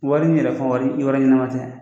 Wari in yɛrɛ fa wari i wari ɲɛnama tɛ